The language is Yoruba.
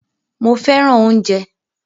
Mó fẹràn oúnjẹ.